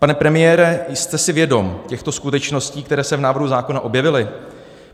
Pane premiére, jste si vědom těchto skutečností, které se v návrhu zákona objevily?